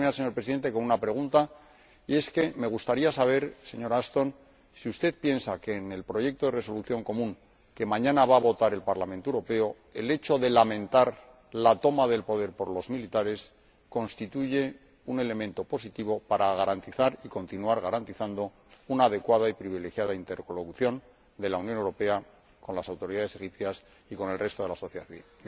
Voy a terminar, señor Presidente, con una pregunta, y es que me gustaría saber, señora Ashton, si usted piensa que en el proyecto de Resolución común, que mañana va a votar el Parlamento Europeo, el hecho de lamentar la toma del poder por los militares constituye un elemento positivo para garantizar y continuar garantizando una adecuada y privilegiada interlocución de la Unión Europea con las autoridades egipcias y con el resto de la sociedad civil.